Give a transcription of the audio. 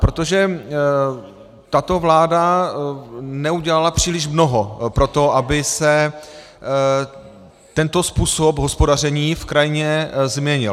Protože tato vláda neudělala příliš mnoho pro to, aby se tento způsob hospodaření v krajině změnil.